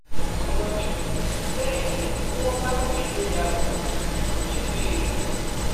kò yọjú bẹẹ ni bí wọn bá pè é lórí aago rẹ kò ní í gbé e